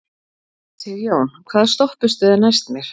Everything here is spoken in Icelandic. Sigjón, hvaða stoppistöð er næst mér?